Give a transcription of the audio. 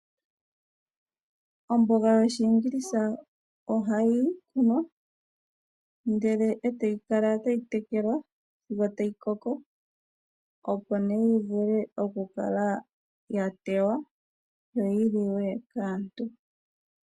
Omboga yoshiingilisha ohayi kunwa ndele e tayi kala tayi tekelwa sigo tayi koko opo nee yi vule oku kala yatewa yo yi li we kaantu.